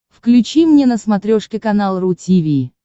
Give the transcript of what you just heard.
включи мне на смотрешке канал ру ти ви